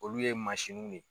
Olu ye masininw ye.